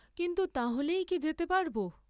কিন্তু তাহলেই কি যেতে পারব?